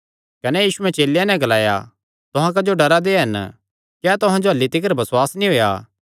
कने यीशुयैं चेलेयां नैं ग्लाया तुहां क्जो डरा दे हन क्या तुहां जो अह्ल्ली तिकर बसुआस नीं होएया